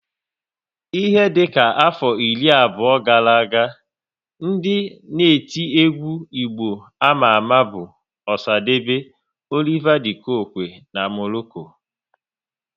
Ihe dịka afọ iri abụọ gara aga, ndị na-eti egwu Igbo ama ama bụ Osadebe, Oliver De coque na Morocco